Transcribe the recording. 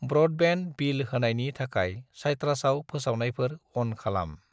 Broadband bill होनायनि थाखाय साइट्रासआव फोसावनायफोर अन खालाम।